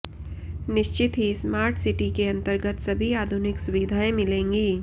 निश्चित ही smart city के अंतर्गत सभी आधुनिक सुविधाएं मिलेंगी